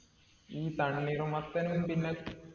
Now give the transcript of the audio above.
ഈ തണ്ണീർമത്തനും പിന്നെ